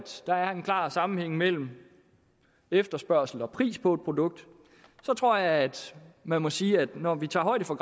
der er en klar sammenhæng mellem efterspørgsel og pris på et produkt tror jeg at man må sige at når vi tager højde for